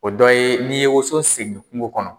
O dɔ ye n'i ye woson seni kungo kɔnɔ